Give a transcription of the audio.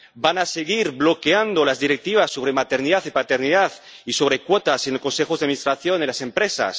¿Van a seguir bloqueando las Directivas sobre maternidad y paternidad, y sobre cuotas en los consejos de administración de las empresas?